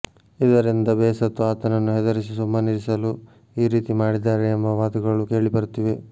ಇದರಿಂದ ಬೇಸತ್ತು ಆತನನ್ನು ಹೆದರಿಸಿ ಸುಮ್ಮನಿರಿಸಲು ಈ ರೀತಿ ಮಾಡಿದ್ದಾರೆ ಎಂಬ ಮಾತುಗಳು ಕೇಳಿಬರುತ್ತಿವೆ